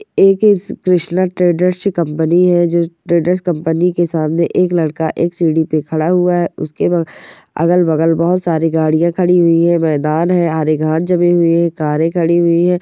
एक Krishna trader company है जो ट्रेडर कंपनी के सामने एक लड़का एक सीडी पे खड़ा है अगल बगल बहुत सारी गाड़ियां खड़ी हुई है मैदान है हरे घास जमा हुई है कारे